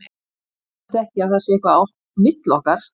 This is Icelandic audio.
Það þýðir samt ekki að það sé eitthvað á milli okkar.